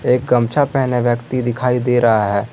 एक गमछा पहले व्यक्ति दिखाई दे रहा है।